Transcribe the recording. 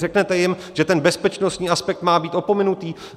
Řeknete jim, že ten bezpečnostní aspekt má být opomenutý?